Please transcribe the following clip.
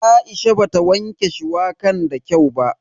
Aisha bata wanke shuwakan da kyau ba.